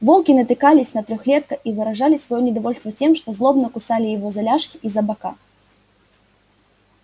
волки натыкались на трехлётка и выражали своё недовольство тем что злобно кусали его за ляжки и за бока